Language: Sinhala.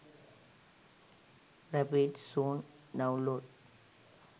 rapid zone download